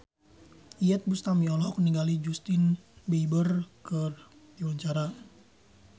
Iyeth Bustami olohok ningali Justin Beiber keur diwawancara